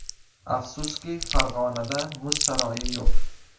Afsuski, Farg‘onada muz saroyi yo‘q.